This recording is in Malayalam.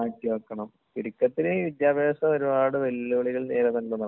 മാറ്റിവയ്ക്കണം. ചുരുക്കത്തില് വിദ്യാഭ്യാസം ഒരുപാട് വെല്ലുവിളികൾ നേരിടുന്നുണ്ടെന്നുള്ളതാണ്.